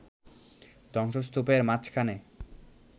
ধ্বংসস্তূপের মাঝখানে